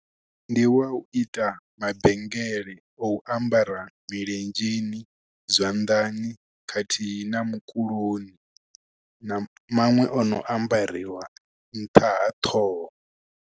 Ndi wa u ita mabengele, o u ambara milenzheni, zwanḓani, khathihi na mukuloni. Na maṅwe o no ambariwa nṱha ha ṱhoho.